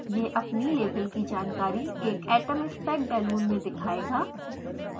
यह अपनी लेबल की जानकारी एक atomspec balloon में दिखायेगा